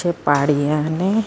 ਯੇ ਪਹਾੜ ਵੀ ਆਂਵਦੇ ਹ।।